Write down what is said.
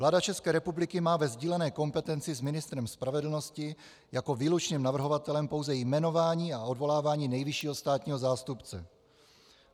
Vláda České republiky má ve sdílené kompetenci s ministrem spravedlnosti jako výlučným navrhovatelem pouze jmenování a odvolávání nejvyššího státního zástupce.